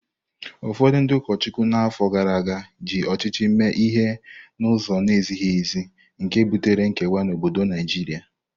Ụfọdụ ndị ụkọchukwu na afọ gara aga ji ọchịchị mee ihe n’ụzọ na-ezighị ezi, nke butere nkewa n’obodo Naijiria.